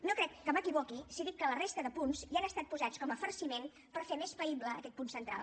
no crec que m’equivoqui si dic que la resta de punts hi han estat posats com a farciment per fer més païble aquest punt central